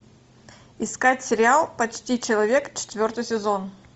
искать сериал почти человек четвертый сезон